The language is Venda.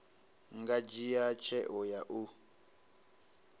nga dzhia tsheo ya u